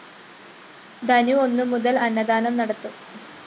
ധനു ഒന്നു മുതല്‍ അന്നദാനം നടത്തും